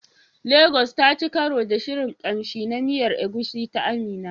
Lagos taci karo da shirin kamshi na miyar Egusi ta Amina.